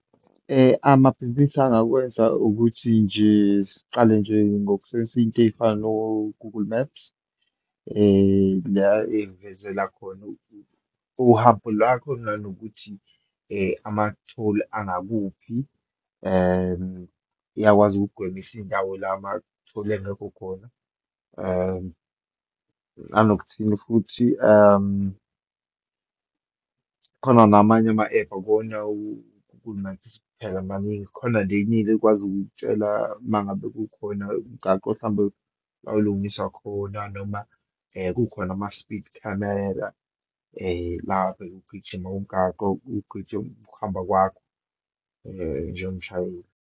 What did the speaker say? Amabhizinisi angakwenza ukuthi nje siqale nje, ngokusebenzisa izinto eyifana no-Google Maps, la eyivezela khona uhambo lwakho nanokuthi amatholi angakuphi, and iyakwazi ukukugwemisa iyindawo la amatholi engekho khona. Nanokuthini futhi khona namanye ama-ephu phela maningi, khona le ekwazi ukukutshela uma ngabe kukhona umgaqo, mhlawumbe olungiswa khona, noma kukhona ama-speed camera lapho ekugijima umgaqo uchithe ukuhamba kwakho, njengomshayeli.